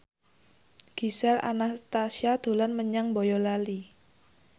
Gisel Anastasia dolan menyang Boyolali